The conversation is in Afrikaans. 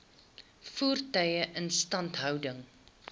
voertuie instandhouding